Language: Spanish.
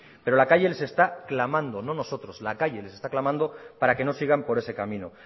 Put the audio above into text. pero la calle les está clamando no nosotros para que no sigan por ese camino